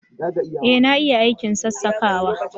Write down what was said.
Ee na iya aikin sassakawa